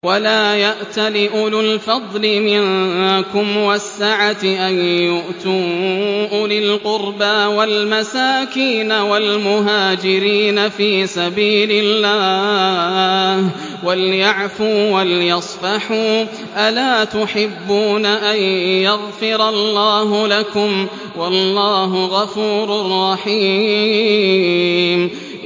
وَلَا يَأْتَلِ أُولُو الْفَضْلِ مِنكُمْ وَالسَّعَةِ أَن يُؤْتُوا أُولِي الْقُرْبَىٰ وَالْمَسَاكِينَ وَالْمُهَاجِرِينَ فِي سَبِيلِ اللَّهِ ۖ وَلْيَعْفُوا وَلْيَصْفَحُوا ۗ أَلَا تُحِبُّونَ أَن يَغْفِرَ اللَّهُ لَكُمْ ۗ وَاللَّهُ غَفُورٌ رَّحِيمٌ